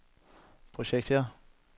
projekter